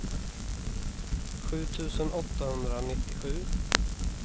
sju tusen åttahundranittiosju